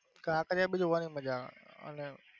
કાંકરિયા બી જોવાની મજા આવે અને?